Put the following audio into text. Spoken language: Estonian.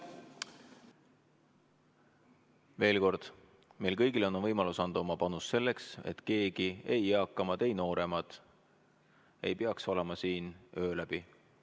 Veel kord: meil kõigil on võimalus anda oma panus selleks, et keegi – ei eakamad ega nooremad – ei peaks olema siin öö läbi.